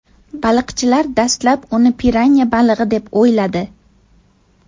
Baliqchilar dastlab uni piranya balig‘i deb o‘yladi.